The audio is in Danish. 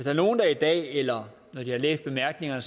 er nogle der i dag eller når de har læst bemærkningerne